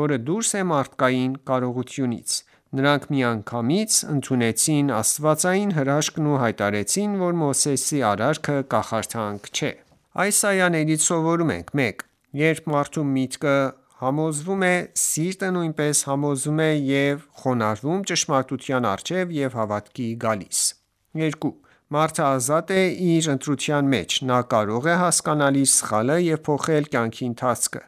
որը դուրս է մարդկային կարողությունից: Նրանք միանգամից ընդունեցին աստվածային հրաշքն ու հայտարարեցին, որ Մովսեսի արարքը կախարդանք չէ։ Այս այաներից սովորում ենք. 1. Երբ մարդու միտքը համոզվում է, սիրտը նույնպես համոզվում է և խոնարհվում ճշմարտության առջև ու հավատքի գալիս: 2. Մարդը ազատ է իր ընտրության մեջ: Նա կարող է հասկանալ իր սխալը և փոխել կյանքի ընթացքը: